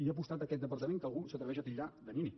hi ha apostat aquest departament que algú s’atreveix a titllar de nini